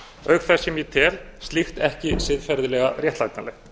auk þess sem ég tel slíkt ekki siðferðilega réttlætanlegt